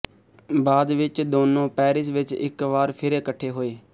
ਬਾਅਦ ਵਿੱਚ ਦੋਨੋਂ ਪੈਰਿਸ ਵਿੱਚ ਇੱਕ ਵਾਰ ਫਿਰ ਇਕਠੇ ਹੋਏ